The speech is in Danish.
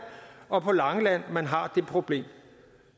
og på langeland man har det problem